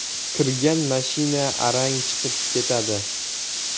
Kirgan mashina arang chiqib ketadi.